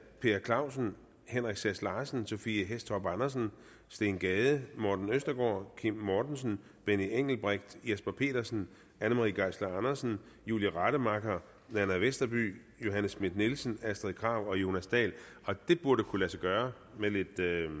per clausen henrik sass larsen sophie hæstorp andersen steen gade morten østergaard kim mortensen benny engelbrecht jesper petersen anne marie geisler andersen julie rademacher nanna westerby johanne schmidt nielsen astrid krag og jonas dahl det burde kunne lade sig gøre med lidt